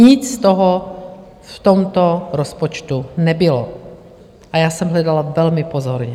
Nic z toho v tomto rozpočtu nebylo a já jsem hledala velmi pozorně.